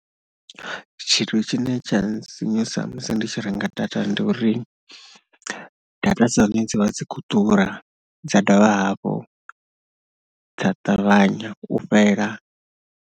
Tshithu tshine tsha nsinyusa musi ndi tshi renga data ndi uri data dza hone dzi vha dzi khou ḓura dza dovha hafhu dza ṱavhanya u fhela.